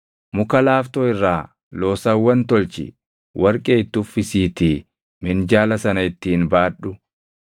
Muka laaftoo irraa loosawwan tolchi; warqee itti uffisiitii minjaala sana ittiin baadhu.